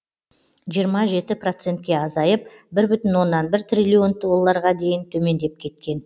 жиырма жеті процентке азайып бір бүтін оннан бір триллион долларға дейін төмендеп кеткен